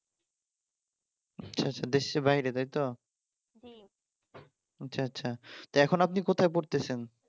আচ্ছা আচ্ছা দেশের বাইরে তাই তো আচ্ছা আচ্ছা এখন আপনি কোথায় পড়তেছেন?